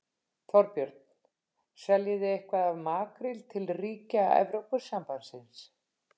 Þorbjörn: Seljið þið eitthvað af makríl til ríkja Evrópusambandsins?